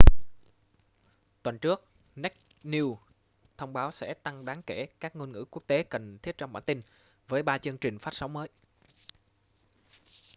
tuần trước naked news thông báo sẽ tăng đáng kể các ngôn ngữ quốc tế cần thiết trong bản tin với ba chương trình phát sóng mới